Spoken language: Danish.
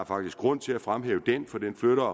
faktisk grund til at fremhæve for den flytter